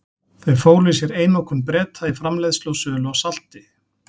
Þau fólu í sér einokun Breta í framleiðslu og sölu á salti.